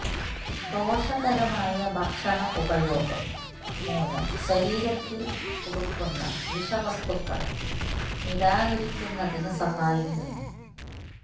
ദോഷകരമായ ഭക്ഷണ ഉപഭോഗം മൂലം ശരീരത്തിൽ കുടുക്കുന്ന വിഷവസ്തുക്കളെ നിരാകരിക്കുന്നതിന് സഹായിക്കുന്നു